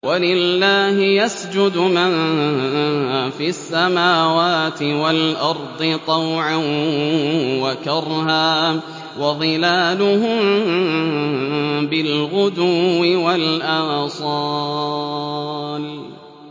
وَلِلَّهِ يَسْجُدُ مَن فِي السَّمَاوَاتِ وَالْأَرْضِ طَوْعًا وَكَرْهًا وَظِلَالُهُم بِالْغُدُوِّ وَالْآصَالِ ۩